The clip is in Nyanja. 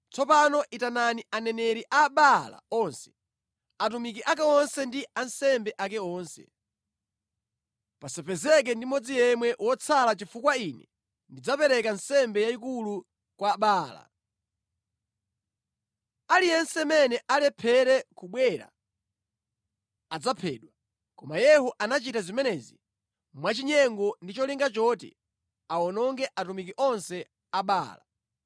Tsopano itanani aneneri a Baala onse, atumiki ake onse ndi ansembe ake onse. Pasapezeke ndi mmodzi yemwe wotsala chifukwa ine ndidzapereka nsembe yayikulu kwa Baala. Aliyense amene alephere kubwera adzaphedwa.” Koma Yehu anachita zimenezi mwachinyengo ndi cholinga choti awononge atumiki onse a Baala.